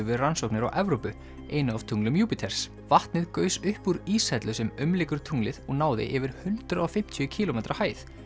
við rannsóknir á Evrópu einu af tunglum Júpíters vatnið gaus upp úr íshellu sem umlykur tunglið og náði yfir hundrað og fimmtíu kílómetra hæð